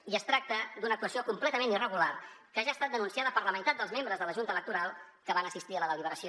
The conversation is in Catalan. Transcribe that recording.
i es tracta d’una actuació completament irregular que ja ha estat denunciada per la meitat dels membres de la junta electoral que van assistir a la deliberació